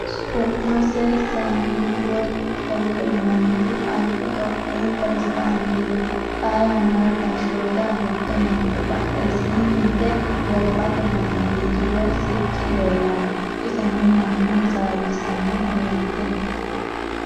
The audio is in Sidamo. Su'mase sahilework zewude yinanniti albi Ethiopiyu prezidanteeti. Xaa yannara gashshoote agurte noote. Badhesiisnni hige gobbate baandeeri woy sicci leellanno. Iseno manna hasaawissanni uurrite no.